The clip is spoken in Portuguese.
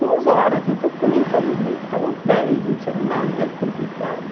Duas horas, então para mim estava estava dez, não tinha nada complicado.